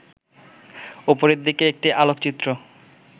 ওপরের দিকে একটি আলোকচিত্র